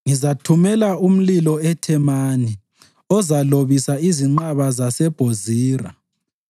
ngizathumela umlilo eThemani ozalobisa izinqaba zaseBhozira.”